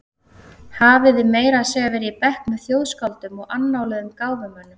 Hafði meira að segja verið í bekk með þjóðskáldum og annáluðum gáfumönnum.